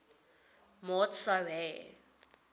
maat sou hê